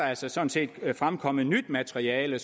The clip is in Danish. altså sådan set fremkommet nyt materiale